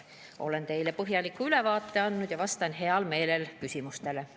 Olen teile põhjaliku ülevaate andnud ja vastan heal meelel küsimustele.